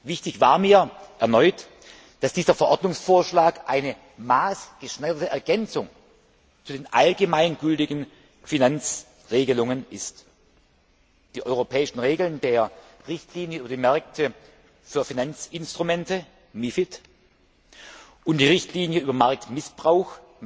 Wichtig war mir erneut, dass dieser Verordnungsvorschlag eine maßgeschneiderte Ergänzung für die allgemein gültigen Finanzregelungen ist. Die europäischen Regeln der Richtlinie über die Märkte für Finanzinstrumente und der Richtlinie über Marktmissbrauch